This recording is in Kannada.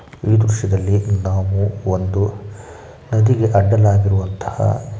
ಈ ದೃಶ್ಯದಲ್ಲಿ ನಾವು ಒಂದು ನದಿಗೆ ಅಡ್ಡಲಾಗಿರುವಂತಹ--